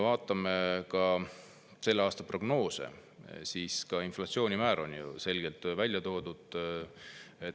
Vaatame selle aasta prognoose, kus ka inflatsioonimäär on selgelt välja toodud.